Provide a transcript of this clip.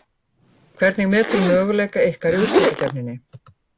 Hvernig meturðu möguleika ykkar í úrslitakeppninni?